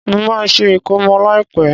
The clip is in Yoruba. Mo má se ìkómọ láìpẹ́